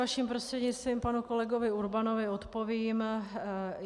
Vaším prostřednictvím panu kolegovi Urbanovi odpovím.